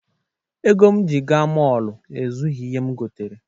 Ego m ji gaa mọọlụ ezughi ihe m gotere.